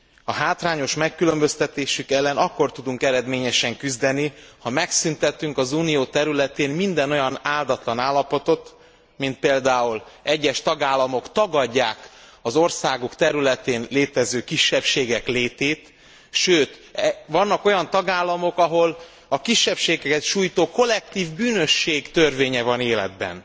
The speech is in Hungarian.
A hátrányos megkülönböztetésük ellen akkor tudunk küzdeni, ha megszüntetünk az Unió területén minden olyan áldatlan állapotot, mint például, hogy egyes tagállamok tagadják az országuk területén létező kisebbségek létét, sőt, vannak olyan tagállamok, ahol a kisebbségeket sújtó kollektív bűnösség törvénye van életben.